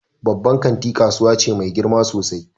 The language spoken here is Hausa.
Babban kanti kasuwa ce mai girma sosai.